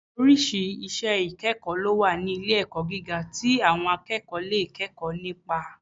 Oríṣìí iṣẹ́ ìkẹ́kọ̀ọ́ lówà ní ilé-ẹ̀kọ́ gíga tí àwọn akẹ́kọ̀ọ́ lè kẹ́kọ̀ọ́ nípa